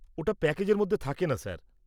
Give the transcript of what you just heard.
-ওটা প্যাকেজের মধ্যে থাকেনা স্যার।